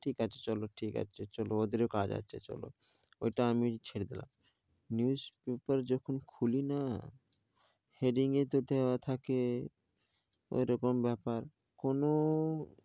ঠিক আছে চলো, ঠিক আছে চলো ওদের ও কাজ আছে চলো ওটা আমি ছেড়ে দিলাম newspaper যখন খুলিনা, heading এ তো দেওয়া থাকে ওরকম, ব্যাপার কোনও,